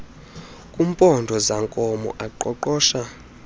kumpondo zankomo aqoqosha